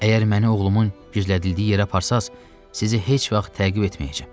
Əgər məni oğlumun gizlədildiyi yerə aparsanız, sizi heç vaxt təqib etməyəcəm.